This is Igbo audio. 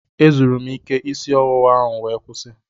Ezuru m ike isi ọwụwa m wee kwụsị.